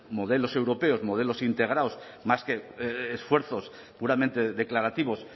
modelos europeos modelos integrados más que esfuerzos puramente declarativos